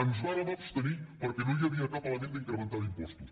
ens vàrem abstenir perquè no hi havia cap element d’incrementar d’impostos